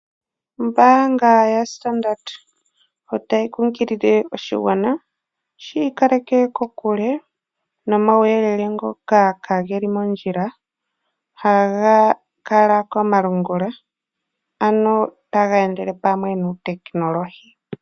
Ombaanga yaStandard otayi kunkilile oshigwana shi ikaleke kokule nomauyelele ngoka kageli mondjila ha gakala komalungula ano taga endele pamwe nuutekinolohi.